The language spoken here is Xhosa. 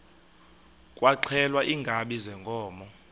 kwaxhelwa iinkabi zeenkomo